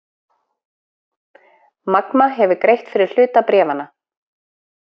Magma hefur greitt fyrir hluta bréfanna